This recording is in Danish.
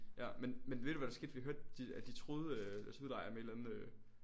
Ja men men ved du hvad der skete vi hørte de at de truede deres udlejer med et eller andet øh